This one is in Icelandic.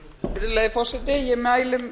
virðulegi forseti ég mæli